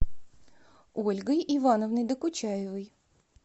ольгой ивановной докучаевой